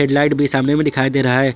Head light भी सामने में दिखाई दे रहा है।